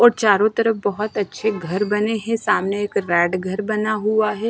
और चारों तरफ बहोत अच्छे घर बने हैं सामने एक रेड घर बना हुआ है।